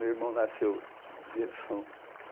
Meu irmão nasceu dia de São